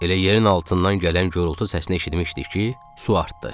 Elə yerin altından gələn göyültü səsini eşitmişdik ki, su artdı.